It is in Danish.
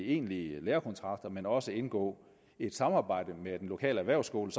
egentlige lærekontrakter men også indgå et samarbejde med den lokale erhvervsskole